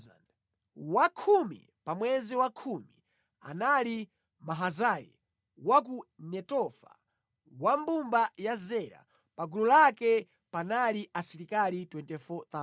Wa khumi pa mwezi wa khumi anali Mahazayi wa ku Netofa, wa mbumba ya Zera. Pa gulu lake panali asilikali 24,000.